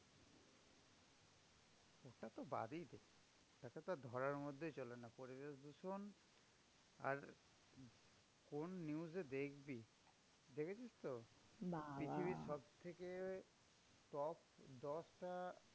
এটাতো বাদই দে এটাতো আর ধরার মধ্যেই চলে না। পরিবেশ দূষণ আর কোন news এ দেখবি? দেখেছিস তো? পৃথিবীর সবথেকে top দশটা